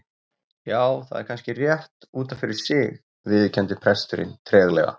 Já, það er kannski rétt út af fyrir sig- viðurkenndi presturinn treglega.